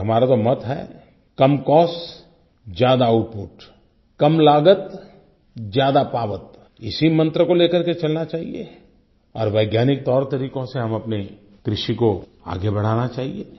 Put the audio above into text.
और हमारा तो मत है कम कॉस्ट ज्यादा आउटपुट कम लागत ज्यादा पावत इसी मंत्र को ले करके चलना चाहिए और वैज्ञानिक तौरतरीकों से हम अपने कृषि को आगे बढ़ाना चाहिए